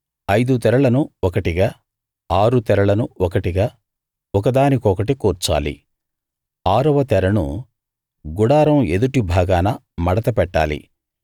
ఐదు తెరలను ఒకటిగా ఆరు తెరలను ఒకటిగా ఒక దానికొకటి కూర్చాలి ఆరవ తెరను గుడారం ఎదుటి భాగాన మడత పెట్టాలి